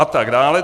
A tak dále.